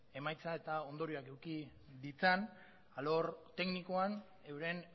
emaitza eta ondorioak eduki ditzan alor teknikoan euren